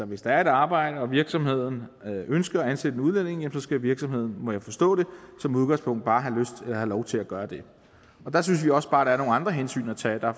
hvis der er et arbejde og virksomheden ønsker at ansætte en udlænding skal virksomheden må jeg forstå det som udgangspunkt bare have lov til at gøre det der synes vi også bare at der er nogle andre hensyn at tage der